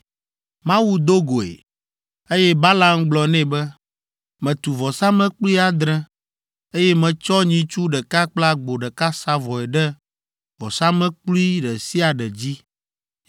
Mawu do goe, eye Balaam gblɔ nɛ be, “Metu vɔsamlekpui adre, eye metsɔ nyitsu ɖeka kple agbo ɖeka sa vɔe ɖe vɔsamlekpui ɖe sia ɖe dzi.”